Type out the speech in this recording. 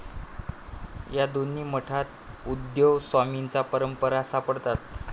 या दोन्ही मठात उद्धवस्वमींच्या परंपरा सापडतात.